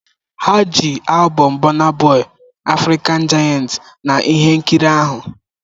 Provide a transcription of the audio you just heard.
Ha ji albọm Burna Boy "African giant" na ihe nkiri ahụ.